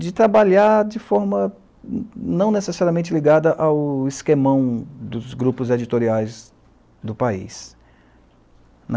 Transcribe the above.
de trabalhar de forma não necessariamente ligada ao esquemão dos grupos editoriais do país.